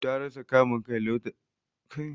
Ta rasa kamun Kai lokacin da ta gan Ali jita.